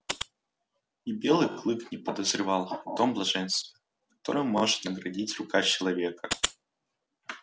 и белый клык не подозревал о том блаженстве которым может наградить рука человека